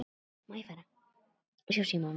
Þá sagðir þú: Ha hver?